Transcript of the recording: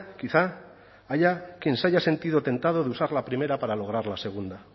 quizá haya quien se haya sentido tentado de usar la primera para lograr la segunda